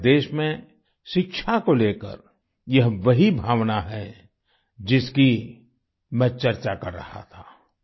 हमारे देश में शिक्षा को लेकर यह वही भावना है जिसकी मैं चर्चा कर रहा था